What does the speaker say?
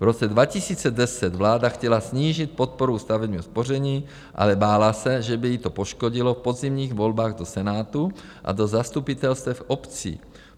V roce 2010 vláda chtěla snížit podporu u stavebního spoření, ale bála se, že by ji to poškodilo v podzimních volbách do Senátu a do zastupitelstev obcí.